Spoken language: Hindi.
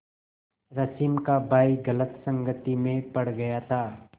रश्मि का भाई गलत संगति में पड़ गया था